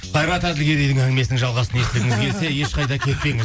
қайрат әділгерейдің әңгімесінің жалғасын естігіңіз келсе ешқайда кетпеңіз